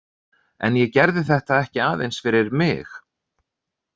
En ég gerði þetta ekki aðeins fyrir mig.